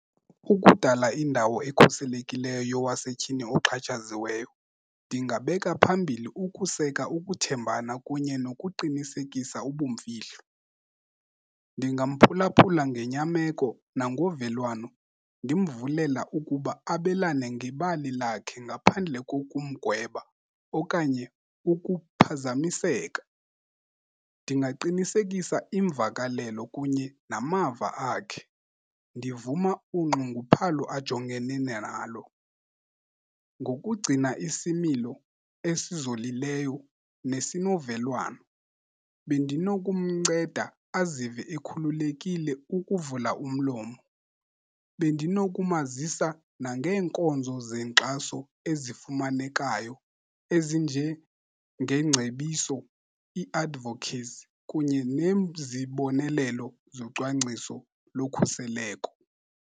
Ukudala indawo ekhuselekileyo yowasetyhini oxhatshaziweyo, ndingabeka phambili ukuseka ukuthembana kunye nokuqinisekisa ubumfihlo. Ndingamphulaphula ngenyameko nangovelwano, ndimvulela ukuba abalane ngebali lakhe ngaphandle kokumgweba okanye ukuphazamiseka. Ndingaqinisekisa imvakalelo kunye namava akhe, ndivuma unxunguphalo ajongene nalo. Ngokugcina isimilo esizolileyo nesinovelwano bendinokumnceda azive ekhululekile ukuvula umlomo. Bendinokumazisa nangeenkonzo zenkxaso ezifumanekayo ezinjengengcebiso, ii-advocates kunye nezibonelelo zocwangciso lokhuseleko.